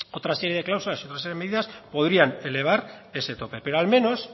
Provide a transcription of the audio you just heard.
otra serie de cláusulas y otra serie de medidas podrían elevar ese tope pero al menos